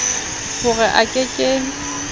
ho re a ke ke